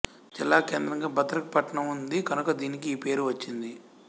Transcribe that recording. జిల్లాకేంద్రంగా భద్రక్ పట్టణం ఉంది కనుక దీనికి ఈ పేరు వచ్చింది